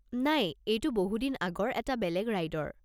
নাই, এইটো বহুদিন আগৰ এটা বেলেগ ৰাইডৰ।